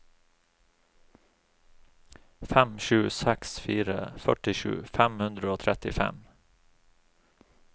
fem sju seks fire førtisju fem hundre og trettifem